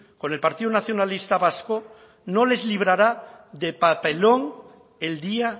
con el partido nacionalista vasco no les librará de papelón el día